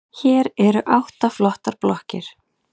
Hér eru átta flottar blokkir.